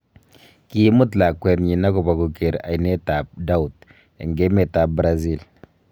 Kiimuut lakwenyin agobaa koger oinat ab Doubt en emet ab Brazil.